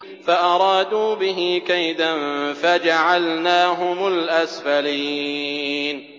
فَأَرَادُوا بِهِ كَيْدًا فَجَعَلْنَاهُمُ الْأَسْفَلِينَ